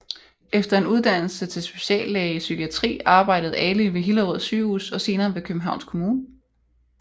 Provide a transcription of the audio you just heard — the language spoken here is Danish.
Efter en uddannelse til speciallæge i psykiatri arbejdede Ali ved Hillerød Sygehus og senere ved Københavns Kommune